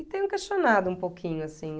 E tenho questionado um pouquinho, assim.